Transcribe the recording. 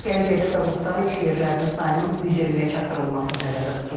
Gələcəkdə zavodda iş yerlərinin sayının 120-yə çatdırılması nəzərdə tutulur.